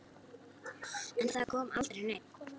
En það kom aldrei neinn.